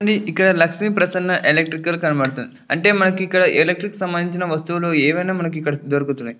ఇక్క్కడ లక్ష్మి ప్రసన ఎలక్ట్రికల్క నబడుతుంది అంటే మనకి ఎలక్ట్రిక్ కి సమందించిన ఆ వస్తువుల్లు ఆయన మనకి దొరుకుతునై.